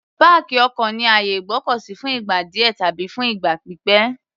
Páàkì ọkọ̀ ni àyè ìgbọ́kọ̀ sí fún ìgbà díẹ̀ tàbí fún ìgbà pípẹ̀.